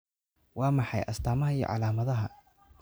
Waa maxay astamaha iyo calaamadaha Scholteka ciladha?